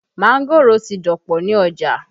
Mángòrò ti dọ̀pọ̀ ní ọjà